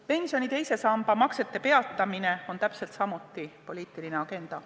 Pensioni teise samba maksete peatamine on täpselt samuti poliitiline agenda.